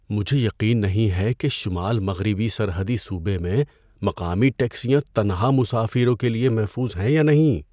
مجھے یقین نہیں ہے کہ شمال مغربی سرحدی صوبے میں مقامی ٹیکسیاں تنہا مسافروں کے لیے محفوظ ہیں یا نہیں۔